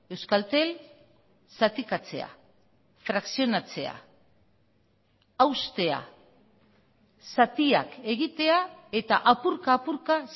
euskaltel zatikatzea frakzionatzea haustea zatiak egitea eta apurka apurka